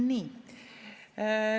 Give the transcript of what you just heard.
Nii.